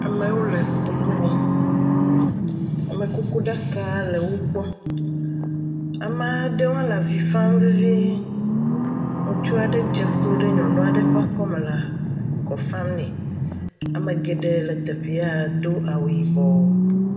Amewo le kunu wɔm, amekukuɖaka le wo gbɔ, ame aɖewo hã le avi fam vevie, ŋutsu aɖe hã dze klo ɖe nyɔnu aɖe ƒe akɔme le akɔ fam nɛ. Ame geɖee le teƒea do awu yibɔ.